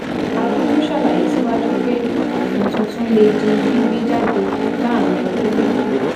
adu tún ṣàlàyé síwájú pé òfin tuntun lè di gbígbé jáde láàárín ọdún méjì